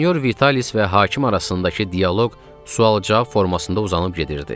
Sinyor Vitalis və hakim arasındakı dialoq sual-cavab formasında uzanıb gedirdi.